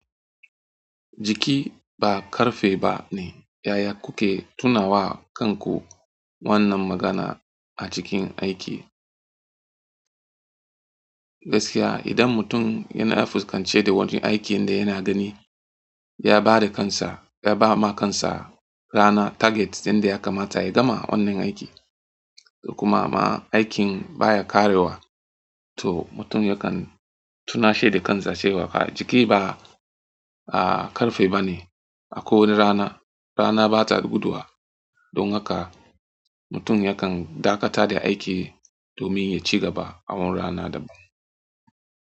Jiki ba ƙarfe ba ne. Yaya kuke tunawa kanku wannan magana a cikin aiki? Gaskiya idan mutum yana fuskance da wani aikin da yana gani, ya ba da kansa, ya ba ma kansa rana target inda ya kamata ya gama wannan aiki. Duk kuma ma aikin baya ƙarewa to mutum yakan tunashi da kansa cewa jiki ba ƙarfe ba ne. A ko wani rana, rana ba ta guduwa. Don haka mutum yakan dakata da aiki domin ya ci gaba a wani rana daban.